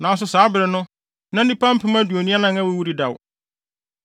nanso saa bere no, na nnipa mpem aduonu anan (24,000) awuwu dedaw.